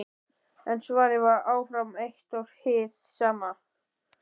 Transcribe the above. En svarið var áfram eitt og hið sama.